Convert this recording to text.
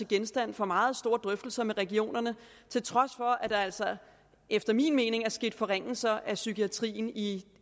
genstand for meget store drøftelser med regionerne til trods for at der altså efter min mening er sket forringelser af psykiatrien i